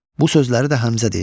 Bu sözləri də Həmzə deyir.